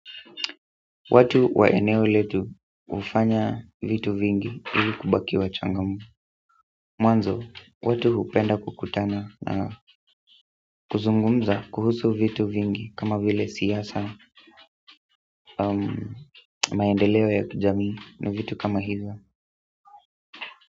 Watu wa eneo letu hufanya vitu vingi ili kubaki wachangamfu mwanzo, watu hupenda kukutana na kuzungumza vitu vingi kama vile siasa maendeleo ya kijamii na vitu kama hivyo.